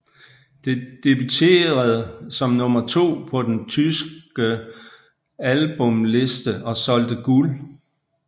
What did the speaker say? Det debuterede som nummer 2 på den tyskel albumhitliste og solgte guld